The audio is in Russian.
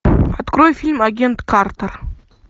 открой фильм агент картер